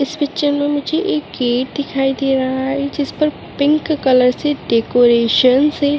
इस पिक्चर मे मुझे एक गेट दिखाई दे रहा है जिसपर पिंक कलर से डेकोरेशन से --